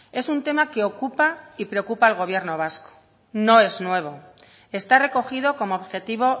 es un tema que ocupa y preocupa al gobierno vasco no es nuevo está recogido como objetivo